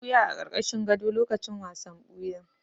Na ɓuya a ƙarƙashin gado lokacin wasan wuya.